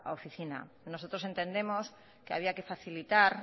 oficina nosotros entendemos que había que facilitar